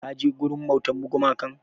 Ka je wurin bautar gumakan?